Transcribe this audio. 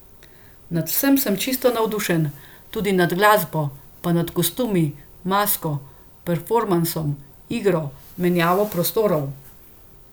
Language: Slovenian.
Nad vsem sem čisto navdušen, tudi nad glasbo, pa nad kostumi, masko, performansom, igro, menjavo prostorov.